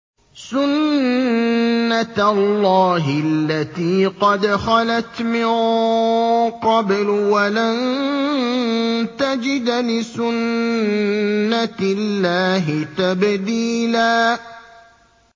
سُنَّةَ اللَّهِ الَّتِي قَدْ خَلَتْ مِن قَبْلُ ۖ وَلَن تَجِدَ لِسُنَّةِ اللَّهِ تَبْدِيلًا